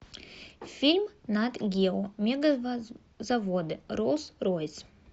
фильм нат гео мегазаводы роллс ройс